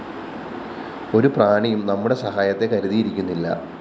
ഒരു പ്രാണിയും നമ്മുടെ സഹായത്തെ കരുതിയിരിക്കുന്നില്ല